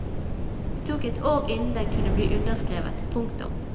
Det tok et år innen den kunne bli underskrevet. punktum